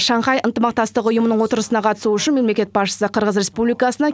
шанхай ынтымақтастық ұйымының отырысына қатысу үшін мемлекет басшысы қырғыз республикасына